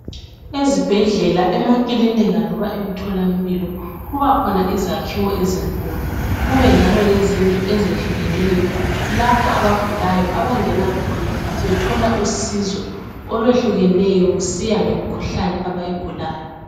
Ezibhedlela emakilinika loba emtholampilo kubakhona izakhiwo ezinkulu kube njalo lezindlu ezehlukeneyo lapho abagulayo abangena khona bethola usizo olwehlukeneyo kusiya ngemikhuhlane abayigulayo.